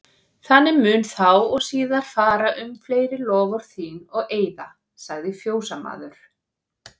Þannig mun þá og síðar fara um fleiri loforð þín og eiða, sagði fjósamaður.